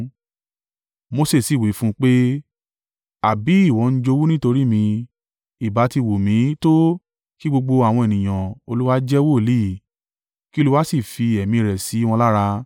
Mose sì wí fún un pé, “Àbí ìwọ ń jowú nítorí mi? Ìbá ti wù mí tó, kí gbogbo àwọn ènìyàn Olúwa jẹ́ wòlíì, kí Olúwa sì fi Ẹ̀mí rẹ̀ sí wọn lára!”